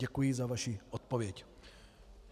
Děkuji za vaši odpověď.